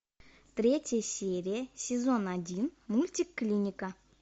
третья серия сезон один мультик клиника